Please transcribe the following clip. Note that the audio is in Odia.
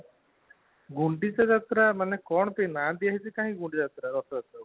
ଗୁଣ୍ଡିଚା ଯାତ୍ରା ମାନେ କଣ ପାଇଁ ନାଁ ଦିଆ ଯାଇଛି ରଥଯାତ୍ରାକୁ